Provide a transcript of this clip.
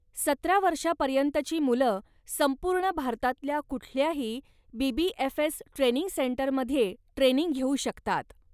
सतरा वर्षापर्यंतची मुलं संपूर्ण भारतातल्या कुठल्याही बी.बी.एफ.एस. ट्रेनिंग सेंटरमध्ये ट्रेनिंग घेऊ शकतात.